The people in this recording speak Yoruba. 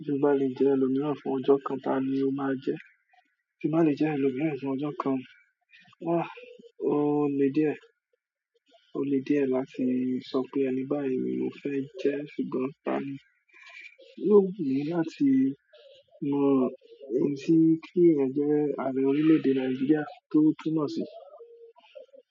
Tí o ba lè jẹ́ ẹlòmíràn fún ọjọ́ kan, ta ni o máa jẹ́? Tín ba lè jẹ́ ẹlòmíràn fún ọjọ́ kan, o le díẹ̀, o le díẹ̀ láti sọ pé ẹni báyìí ni mo fẹ́ jẹ́, ṣùgbọ́n ta ni yóò wù mí láti mọ̀, èsì kí ẹ̀yin jẹ́ ààrẹ orílẹ̀-èdè Nàìjíríà tó túmọ̀ sí.